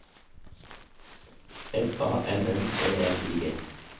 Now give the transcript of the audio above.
S A N N E L I G